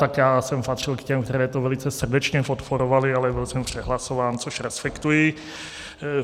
Tak já jsem patřil k těm, kteří to velice srdečně podporovali, ale byl jsem přehlasován, což respektuji.